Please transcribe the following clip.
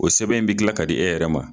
O sɛbɛn bi dilan ka di e yɛrɛ ma.